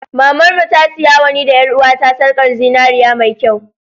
Mamar mu ta siyawa ni da ƴar'uwata sarkar zinariya mai kyau.